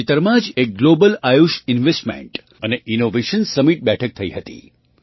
તાજેતરમાં જ એક ગ્લૉબલ આયુષ ઇન્વેસ્ટમેન્ટ અને ઇનૉવેશન સમિટ બેઠક થઈ હતી